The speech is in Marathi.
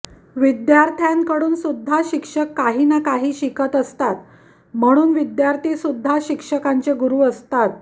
विद्यार्थ्यांकडून सुद्धा शिक्षक काही ना काही शिकत असतात म्हणून विद्यार्थीसुद्धा शिक्षकांचे गुरू असतात